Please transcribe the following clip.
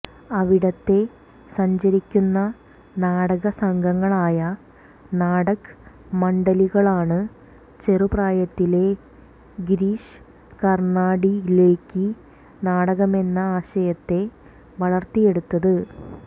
അവിടത്തെ സഞ്ചരിക്കുന്ന നാടകസംഘങ്ങളായ നാടക് മണ്ഡലികളാണ് ചെറുപ്രായത്തിലേ ഗിരീഷ് കര്ണാടിലേക്ക് നാടകമെന്ന ആശയത്തെ വളര്ത്തിയെടുത്തത്